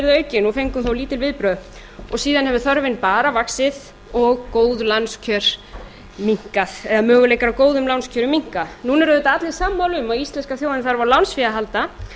aukinn en fengum þá lítil viðbrögð og síðan hefur þörfin bara vaxið og góð lánskjör minnkað eða möguleikar á góðum lánskjörum minnkað núna eru auðvitað allir sammála um að íslenska þjóðin þarf á lánsfé að halda